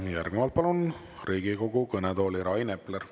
Ja järgnevalt palun Riigikogu kõnetooli Rain Epleri.